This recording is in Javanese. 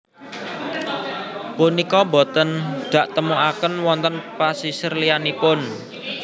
Punika boten daktemukaken wonten pasisir liyanipun